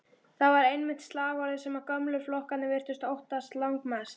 Það var einmitt slagorðið sem gömlu flokkarnir virtust óttast langmest.